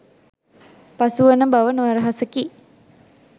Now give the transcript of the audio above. පසුවන බව නොරහසකි.